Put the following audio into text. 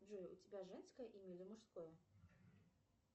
джой у тебя женское имя или мужское